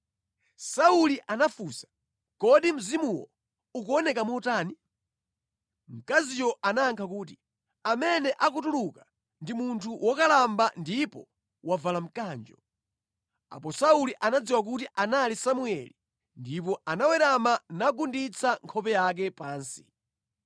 Sauli anafunsa, “Kodi mzimuwo ukuoneka motani?” Mkaziyo anayankha kuti, “Amene akutuluka ndi munthu wokalamba ndipo wavala mkanjo.” Apo Sauli anadziwa kuti anali Samueli ndipo anawerama nagunditsa nkhope yake pansi.